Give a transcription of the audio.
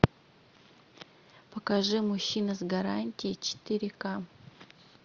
покажи мужчина с гарантией четыре ка